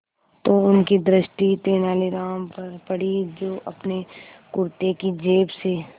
तो उनकी दृष्टि तेनालीराम पर पड़ी जो अपने कुर्ते की जेब से